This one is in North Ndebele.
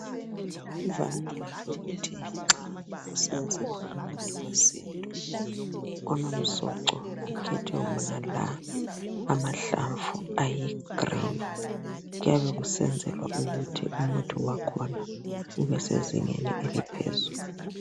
Kuvamile ukuthi nxa kusenziwa umuthi wesintu onomsoco kukhethwe wonala amahlamvu ayi green .Kuyabe kusenzelwa ukuthi umuthi wakhona ubesezingeni eliphezulu.